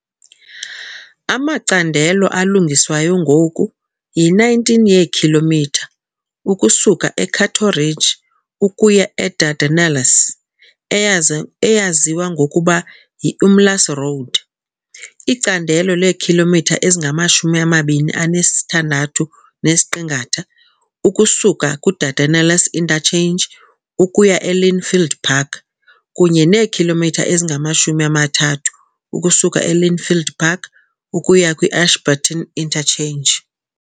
Amacandelo alungiswayo ngoku yi-19 yeekhilomitha ukusuka e-Cato Ridge ukuya e-Dardanelles, eyaza eyaziwa ngokuba yi-Umlaas Road, icandelo leekhilomitha ezingama-26.6 ukusuka ku-Dardanelles Interchange ukuya e-Lynnfield Park, kunye neekhilomitha ezingama-30 ukusuka e-Lynnfield Park ukuya kwi-Ashburton Interchange.